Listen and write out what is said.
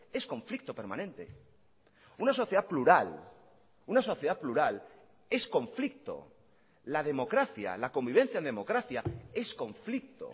es conflicto permanente una sociedad plural una sociedad plural es conflicto la democracia la convivencia en democracia es conflicto